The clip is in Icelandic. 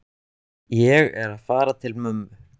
Ég er að fara til mömmu.